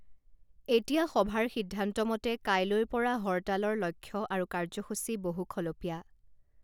এতিয়া সভাৰ সিদ্ধান্তমতে কাইলৈৰ পৰা হৰতালৰ লক্ষ্য আৰু কাৰ্য্যসূচী বহুখলপীয়া